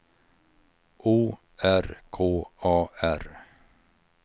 O R K A R